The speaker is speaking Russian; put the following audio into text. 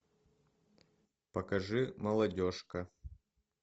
покажи молодежка